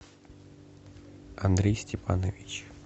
андрей степанович